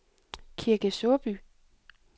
Kirke Såby